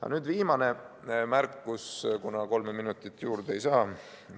Aga nüüd viimane märkus, kuna kolme minutit paraku juurde ei saa.